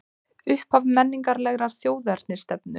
Upphaf menningarlegrar þjóðernisstefnu